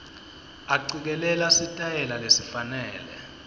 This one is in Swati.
acikelela sitayela lesifanele